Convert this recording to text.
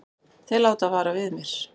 Þeir láta vara við mér.